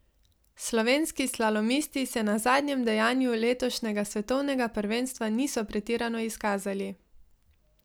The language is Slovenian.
Slovenski slalomisti se na zadnjem dejanju letošnjega svetovnega prvenstva niso pretirano izkazali.